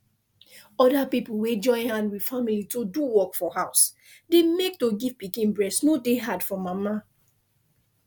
other pipo wey join hand with family to do work for house dey make to give pikin breast no dey hard for mana